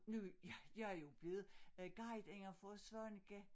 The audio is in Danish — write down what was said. Nu jeg jeg jo blevet guideinde for Svaneke